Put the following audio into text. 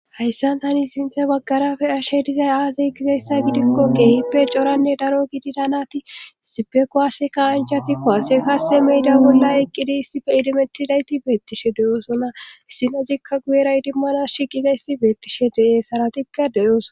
Hayssan tani sinthe baggarafe ashe dizay aazey gizeyssa gidikko qeehippe coranne daro gidida nati sipekuwaaseka anjatikko hase kaase meyda bolla eqqidi issife idimettidayti beettishe deyoosona issinozikka guyera idimmana shiqiza isti beettishe de'ee haratikka deyooson.